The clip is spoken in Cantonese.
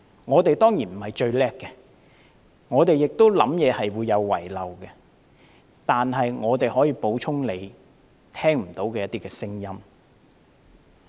我們當然並非最了不起，我們的想法亦會有遺漏，但我們可以補充他聽不到的聲音。